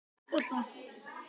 Þetta var klárt.